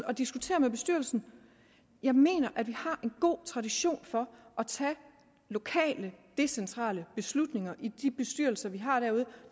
og diskutere med bestyrelsen jeg mener at vi har en god tradition for at tage lokale decentrale beslutninger i de bestyrelser vi har derude